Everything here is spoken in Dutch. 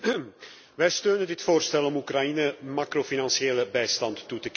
Wij steunen dit voorstel om Oekraïne macrofinanciële bijstand toe te kennen.